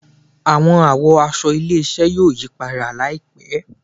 Awọn àwọ̀ aṣọ ilé-iṣẹ yóò yí padà laipẹ